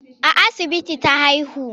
A asibiti ta haihu.